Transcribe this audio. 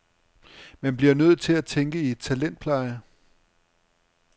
Man bliver nødt til at tænke i talentpleje.